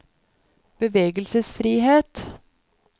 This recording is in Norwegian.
bevegelsesfrihet